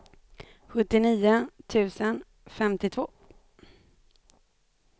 sjuttionio tusen femtiotvå